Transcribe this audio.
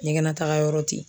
Ɲɛgɛnataga yɔrɔ te